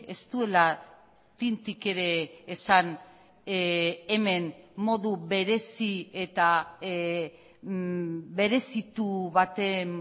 ez duela tintik ere esan hemen modu berezi eta berezitu baten